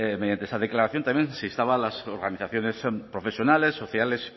mediante esa declaración también se instaba a las organizaciones profesionales sociales